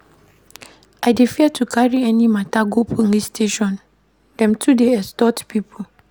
I dey fear to carry any mata go police station, dem too dey extort pipo.